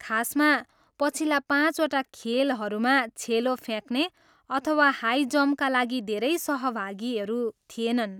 खासमा पछिल्ला पाँचवटा खेलहरूमा छेलो फ्याँक्ने अथवा हाइजम्पका लागि धेरै सहभागीहरू थिएनन्।